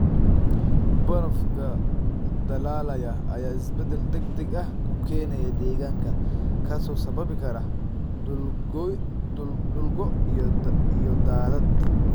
Barafka dhalaalaya ayaa isbedel degdeg ah ku keenaya deegaanka, kaasoo sababi kara dhul go' iyo daadad.